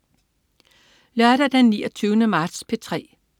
Lørdag den 29. marts - P3: